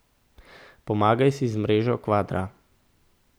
Pomagaj si z mrežo kvadra.